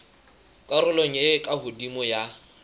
karolong e ka hodimo ya